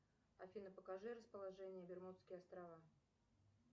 афина покажи расположение бермудские острова